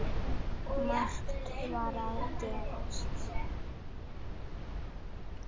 Margt var að gerast.